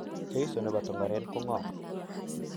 Jesu nepo Tongaren ko ngo?